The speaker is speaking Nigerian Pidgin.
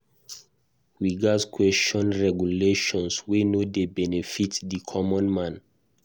We gatz question regulations wey no dey benefit di common man.